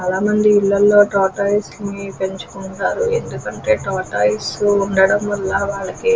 చాలా మంది ఇంట్లలో టోర్టోఐసే ని పెంచుకుంటాళ్లు ఎందుకంటే టోర్టోఐసే ఉండడం వాలనన వాళ్ళకి--